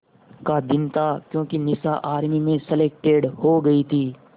का दिन था क्योंकि निशा आर्मी में सेलेक्टेड हो गई थी